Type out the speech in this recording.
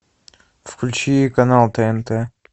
включи канал тнт